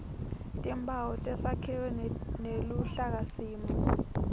timphawu tesakhiwo neluhlakasimo